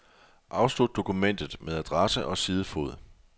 Afslut dokumentet med adresse og sidefod.